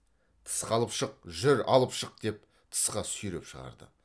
тысқа алып шық жүр алып шық деп тысқа сүйреп шығарды